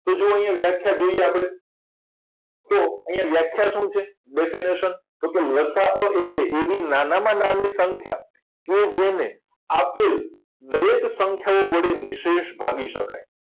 તો જુઓ અહીંયા વ્યાખ્યા જોઈએ આપણે તો અહીંયા વ્યાખ્યા શું છે definition લસાઅ એટલે એવી નાનામાં નાની સંખ્યા કે જેને આપેલ દરેક સંખ્યા વડે નિશેષ ભાગી શકાય